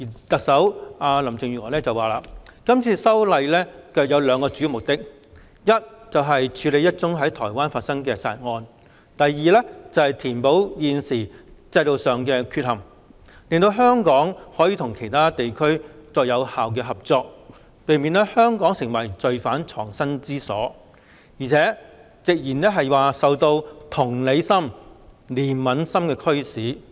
特首林鄭月娥表示，是次修例有兩個主要目的，一是處理一宗在台灣發生的殺人案，二是填補現時制度上的缺陷，令香港可與其他地區有效合作，避免香港成為罪犯藏身之所，更直言是受到同理心、憐憫心的驅使。